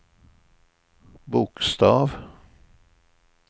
bokstav